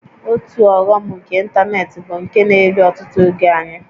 Otu ọghọm nke ịntanetị bụ nke na-eri ọtụtụ oge anyị